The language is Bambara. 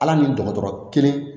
Ala ni dɔgɔtɔrɔ kelen